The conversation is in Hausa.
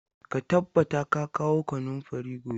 Ka tabbata ka kawo kanunfarin gobe!